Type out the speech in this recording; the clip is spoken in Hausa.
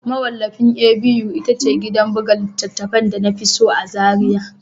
Mawallafin A.B.U ita ce gidan buga littattafai da na fi so a Zariya